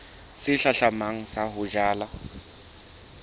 se hlahlamang sa ho jala